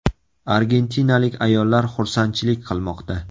Argentinalik ayollar xursandchilik qilmoqda.